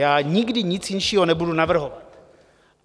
Já nikdy nic jinšího nebudu navrhovat.